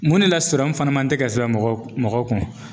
Mun ne la sɔrɔmu fana man tɛ ka sɛbɛn mɔgɔ kun mɔgɔw kun